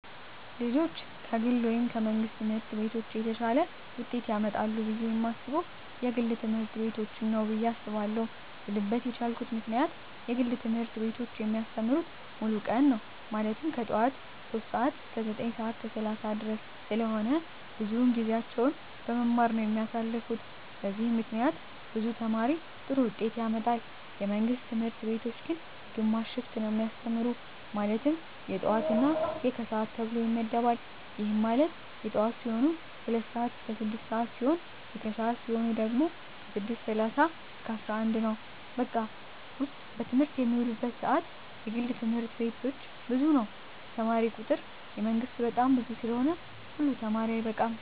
ልጆች ከግል ወይም ከመንግሥት ትምህርት ቤቶች የተሻለ ውጤት ያመጣሉ ብየ የማስበው የግል ትምህርት ቤቶችን ነው ብየ አስባለው ልልበት የቻልኩት ምክንያት የግል ትምህርት ቤቶች የሚያስተምሩት ሙሉ ቀን ነው ማለትም ከጠዋቱ 3:00 ሰዓት እስከ 9:30 ድረስ ስለሆነ ብዙውን ጊዜያቸውን በመማማር ነው የሚያሳልፉት በዚህም ምክንያት ብዙ ተማሪ ጥሩ ውጤት ያመጣል። የመንግስት ትምህርት ቤቶች ግን ግማሽ ሽፍት ነው የሚያስተምሩ ማለትም የጠዋት እና የከሰዓት ተብሎ ይመደባል ይህም ማለት የጠዋት ሲሆኑ 2:00 ስዓት እስከ 6:00 ሲሆን የከሰዓት ሲሆኑ ደግሞ 6:30 እስከ 11:00 ነው በቀን ውስጥ በትምህርት የሚውሉበት ሰዓት የግል ትምህርት ቤቶች ብዙ ነው የተማሪ ቁጥሩ የመንግስት በጣም ብዙ ስለሆነ ሁሉ ተማሪ አይበቃም።